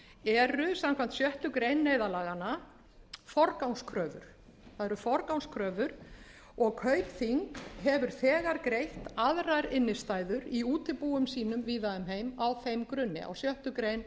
eru samkvæmt sjöttu grein neyðarlaganna forgangskröfur það eru forgangskröfur og kaupþing hefur þegar greitt aðrar innstæður í útibúum sínum víða um heim á þeim grunni á sjöttu grein